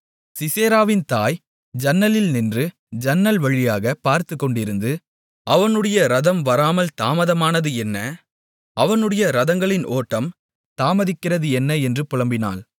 சிசெராவின் தாய் ஜன்னலில் நின்று ஜன்னல் வழியாகப் பார்த்துக்கொண்டிருந்து அவனுடைய இரதம் வராமல் தாமதமானது என்ன அவனுடைய இரதங்களின் ஓட்டம் தாமதிக்கிறது என்ன என்று புலம்பினாள்